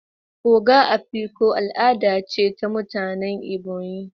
"Ogo Afikpo" al'ada ce ta mutanen Ebonyi